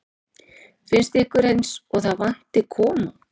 Finnst ykkur eins og það vanti konung?